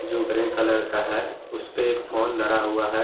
जो grey colour का है उसपे एक फोन धरा हुआ है।